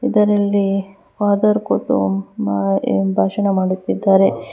ಇದರಲ್ಲಿ father photo ಮ ಭಾಷಣ ಮಾಡುತ್ತಿದ್ದಾರೆ.